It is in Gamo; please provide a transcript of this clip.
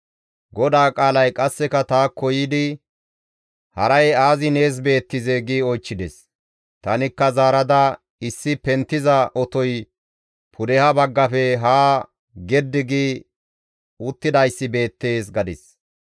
GODAA qaalay qasseka taakko yiidi, «Haray aazi nees beettizee?» gi oychchides. Tanikka zaarada, «Issi penttiza otoy pudeha baggafe haa geddi gi uttidayssi beettees» gadis.